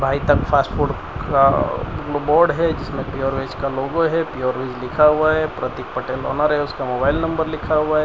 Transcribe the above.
बैठक फास्टफूड का बोर्ड है जिसमें प्योर वेज का लोगो है प्योर वेज लिखा हुआ है प्रतिक पटेल ओनर है उसका मोबाइल नंबर लिखा हुआ है।